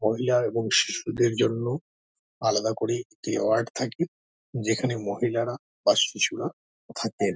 মহিলা এবং শিশুদের জন্য আলাদা করে একটি ওয়ার্ড থাকে যেখানে মহিলারা বা শিশুরা থাকেন।